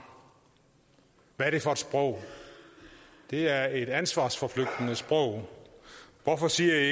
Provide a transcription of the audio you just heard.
hvad er det for et sprog det er et ansvarsforflygtigende sprog hvorfor siger i